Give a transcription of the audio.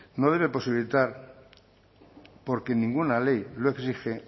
no debe posibilitar porque ninguna ley lo exige